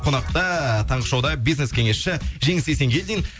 қонақта таңғы шоуда бизнес кеңесші жеңіс есенгелдин